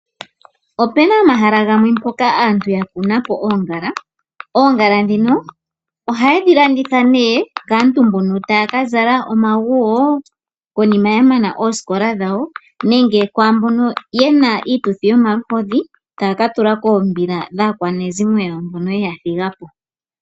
Opuna omahala gamwe mpoka aantu ya kuna po oongala . Oongala ndhino ohaye dhi landitha nee kaantu mbono taya ka zala omaguyo konima ya mana oosikola dhawo nenge . Nenge kwaambono yena iituthi yomaluhodhi. Taya ka tula koombila dhaakwanezimo yawo mbono ye ya thigapo.